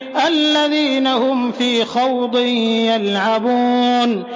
الَّذِينَ هُمْ فِي خَوْضٍ يَلْعَبُونَ